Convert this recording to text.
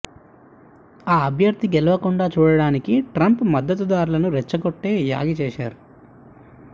ఆ అభ్యర్థి గెలవకుండా చూడడానికి ట్రంప్ మద్దతుదార్లను రెచ్చగొట్టి యాగీ చేశారు